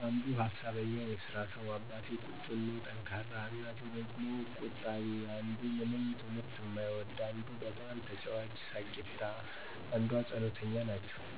አንዱ ሀሳበኛ የስራ ሰው፣ አባቴ ቁጡ እና ጠንካራ፣ እናቴ ደግሞ ቆጣቢ፣ አንዱ ምንም ትምህርት እማይወድ፣ እንዱ በጣም ተጫዋች ሳቂታ፣ አንዷ ፀሎተኛ ናቸዉ።